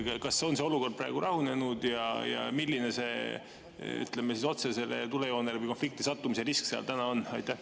Kas see olukord on praegu rahunenud ja milline see otsesele tulejoonele või konflikti sattumise risk seal on?